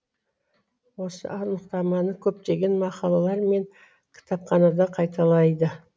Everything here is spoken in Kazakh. осы анықтаманы көптеген мақалалар мен кітапханада қайталайды